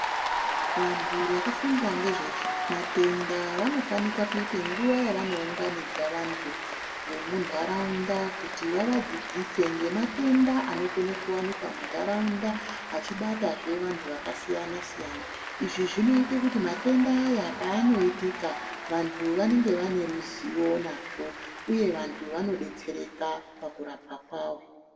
Vantu vakafunda ngezvematenda vanofanika kuita nguva yavano unganidze vantu vemu ntaraunda kuti vavadzidzise ngezve matenda anogone kuwanikwa muntaraunda achi batazve vantu vakasiyana siyana. Izvi zvinoite kuti matenda aya paanoitika, vantu vanenge vane ruzivo nazvo uye vantu vano detsereka pakurapwa kwawo.